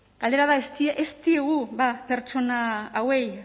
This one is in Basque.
galdera da ez diogu bada pertsona horiei